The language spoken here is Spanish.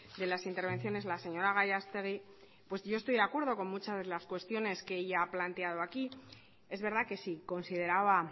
de las intervenciones la señora gallastegui pues yo estoy de acuerdo con muchas de las cuestiones que ella ha planteado aquí es verdad que si consideraba